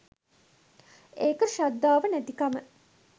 ඒක ශ්‍රද්ධාව නැතිකම